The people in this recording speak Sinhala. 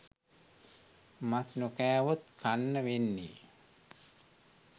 මස් නොකෑවොත් කන්න වෙන්නේ